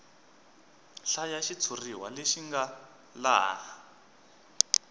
hlaya xitshuriwa lexi nga laha